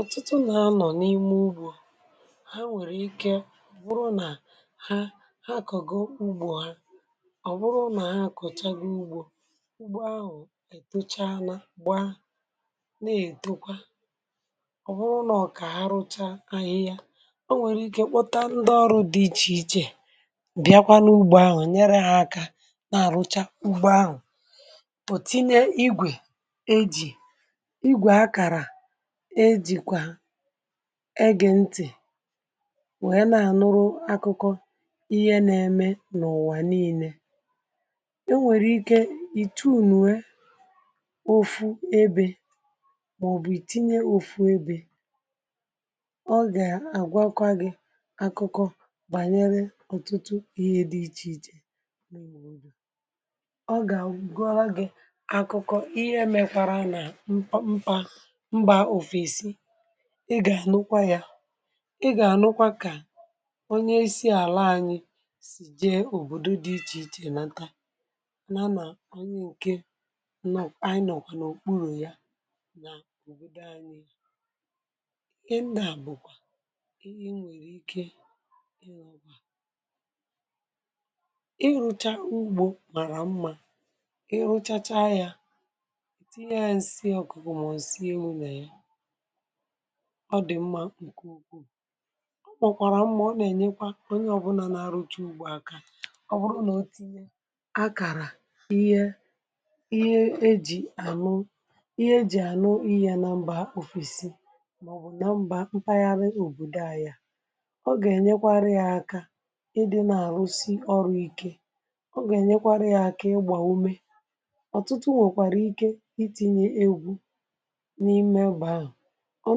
Ọ̀tụtụ nà anọ̀ n’ime ugbò ha, nwèrè ike wụrụ nà ha, ha àkọ̀gọ ugbò ha. Ọ̀ wụrụ nà ha àkọ̀chaghị ugbò, ugbò ahụ̀ ètocha, anà gbaa, na-ètekwa. Ọ̀ wụrụ nà ọ̀kà ha rụcha ahịhịa, ọ nwèrè ike kpọta ndị ọrụ̇ dị iche iche bịakwa n’ugbò ahụ̀, um nyere ha aka na-àrụcha ugbò ahụ̀. Pọtịnè igwe eji̇ igwe akàrà, um egè ntì wèe na-ànụrụ akụkọ ihe na-eme n’ụ̀wà niile. Ọ nwèrè ike ìtù nwe ofu ebe, màọ̀bụ̀ ìtinye ofu ebe, ọ gà-àgwakwa gị̇ akụkọ bànyere ọ̀tụtụ ihe dị iche iche. Ọ gà-agọra gị̇ akụkọ ihe mekwara nà mpa, ị gà-ànụkwa ya, ị gà-ànụkwa kà onye si àlà anyị sì jee òbòdò dị iche iche, nata nà, nà onye nke nnọ̀ anyị nọ̀kwànụ òkpuru̇ ya nà òbòdò anyị. Ị nà bụ̀kwa ihe i nwèrè ike ị rụcha ugbò mara mma. um Ị rụchacha ya, ọ dị̀ mma nke ukwu, ọ mọ̀kwàrà mma, ọ nà-ènyekwa onye ọbụnà n’arụ ọrụ̇ ugbò aka, ọ bụrụ nà o tinye akàrà ihe, ihe e jì ànụ, ihe e jì ànụ ihe ya nà nàmba ofesi, màọ̀bụ̀ nà m̀bà mpaghara òbòdò anya, um ọ gà-ènyekwarị ya aka. Ị dị nà-àrụsi ọrụ̇ ike, um ọ gà-ènyekwarị gị aka ịgbà ume. Ọ̀tụtụ nwekwara ike itinye egwu̇ n’ime ebe ahụ̀. Ọ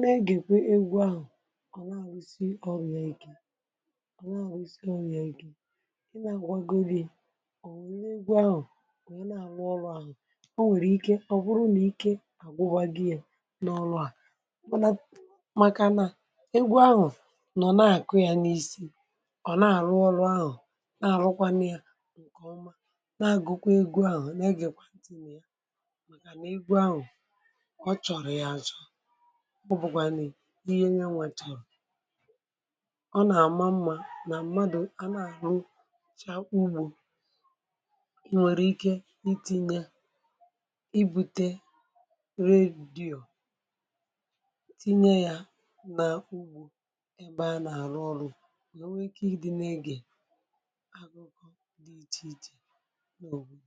na-egèkwa egwu ahụ̀, um ọ̀ na-àhụ isi, ọ bụ̀ ya ike. Ọ̀ na-àhụ isi, ọ̀ bụ̀ ya ike, ị na-àgbagodi, ọ̀ wùrù egwu ahụ̀. Ọ̀ na-àrụ ọrụ ahụ̀, ọ nwèrè ike, ọ̀ bụrụ nà ike à gbụgba gị̇ ya n’ọrụ a, mākà nà egwu ahụ̀ nọ̀ na-àkụ ya n’isi. um Ọ̀ na-àrụ ọrụ ahụ̀ na-àrụkwanụ ya nke ọma, na-àgụkwa egwu ahụ̀, nà egèkwa ntì n’ụ́ ya, um mākà nà egwu ahụ̀ kọchọ̀rọ̀ ya. Azọ mọ̀ bụ̀gwànè ihe nye nwàtàrà. Ọ nà-àma mma nà mmadụ̀ a nà-àrụ ịchà ugbò. Ị nwèrè ike n’itinye, um ibùte redio, tinye ya nà ugbò ebe a nà-àrụ ọrụ̇, nwee ike ịdị nà-egè agụụ dị iche iche nà òbòdò.